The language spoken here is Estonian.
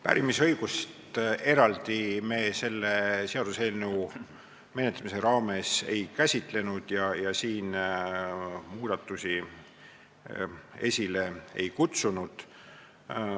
Pärimisõigust eraldi me selle seaduseelnõu menetlemise raames ei käsitlenud ja siin muudatusi esile ei kutsunud.